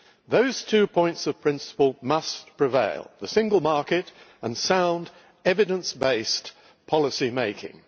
Those two points of principle must prevail the Single Market and sound evidence based policymaking.